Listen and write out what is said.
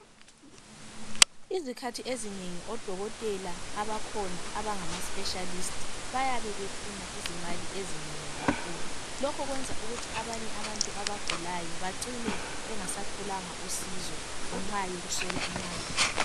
Izikhathi ezinengi odokotela abakhona abangama specialist bayabe befuna izimali ezinengi kakhulu lokho kwenza ukuthi abanye abantu abagulayo bacine bengasatholanga usizo ngenxa yokuswela imali